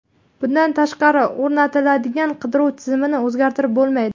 Bundan tashqari, o‘rnatilgan qidiruv tizimini o‘zgartirib bo‘lmaydi.